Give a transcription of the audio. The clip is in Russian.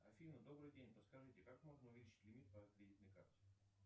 афина добрый день подскажите как можно увеличить лимит по кредитной карте